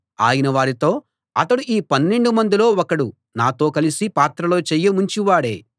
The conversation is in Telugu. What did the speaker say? ఆయన వారితో అతడు ఈ పన్నెండు మందిలో ఒకడు నాతో కలసి పాత్రలో చెయ్యి ముంచేవాడే